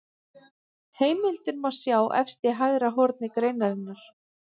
Heimildir má sjá efst í hægra horni greinarinnar.